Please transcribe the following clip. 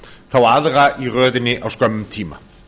þá aðra í röðinni á skömmum tíma